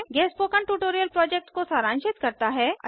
यह spoken tutorial project को सारांशित करता है